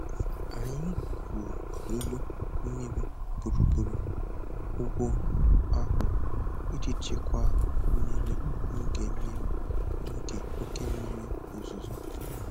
Anyị gwuru olulu mmiri gburugburu ugbo ahụ iji chịkwaa mmiri n'oge mmiri n'oge oke mmiri ozuzo.